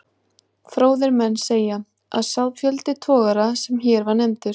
Fróðir menn segja, að sá fjöldi togara, sem hér var nefndur